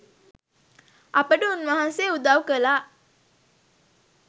අපට උන්වහන්සේ උදව් කළා.